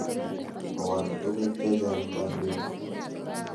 Koal tuguk che chang' kanetik.